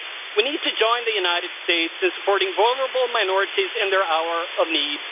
We need to join the USA in supporting vulnerable minorities in their hour of need.